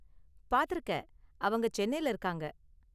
பார்த்துருக்க, அவங்க சென்னையில இருக்காங்க.